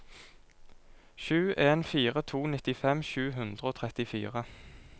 sju en fire to nittifem sju hundre og trettifire